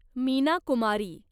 Meena Kumari